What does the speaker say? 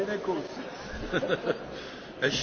Vielen Dank, meine sehr geehrten Damen und Herren!